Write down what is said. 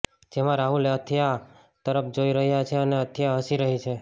જેમાં રાહુલ અથિયા તરફ જોઈ રહ્યો છે અને અથિયા હસી રહી છે